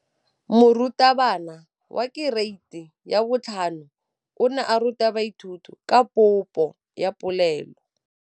Moratabana wa kereiti ya 5 o ne a ruta baithuti ka popô ya polelô.